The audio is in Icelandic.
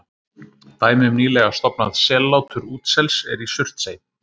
Dæmi um nýlega stofnað sellátur útsels er í Surtsey.